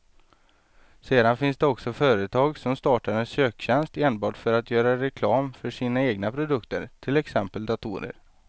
Sedan finns det också företag som startar en söktjänst enbart för att göra reklam för sina egna produkter, till exempel datorer.